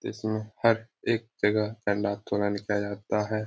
इसमें हर एक जगह निकल जाता है |